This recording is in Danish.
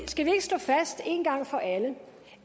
skal vi ikke slå fast én gang for alle